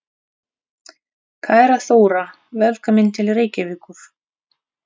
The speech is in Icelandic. Kæra Þóra. Velkomin til Reykjavíkur.